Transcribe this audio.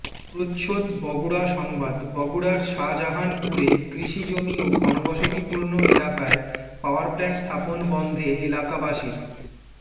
প্রচ্ছদ বগুড়া সংবাদ বগুড়ার শাজাহানপুরে কৃষি জমি ও ঘনবসতিপূর্ণ এলাকায় পাওয়ার প্লাণ্ট স্থাপন বন্ধে এলাকাবাসির